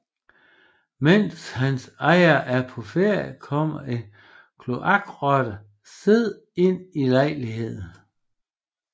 Mens hans ejer er på ferie kommer en kloakrotte Sid ind i lejligheden